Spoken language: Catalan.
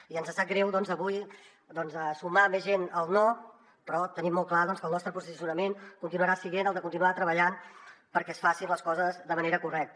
i ens sap greu avui sumar més gent al no però tenim molt clar doncs que el nostre posicionament continuarà sent el de continuar treballant perquè es facin les coses de manera correcta